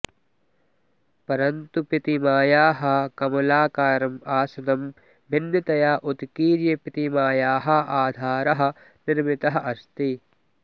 परन्तु प्रतिमायाः कमलाकारम् आसनं भिन्नतया उत्कीर्य प्रतिमायाः आधारः निर्मितः अस्ति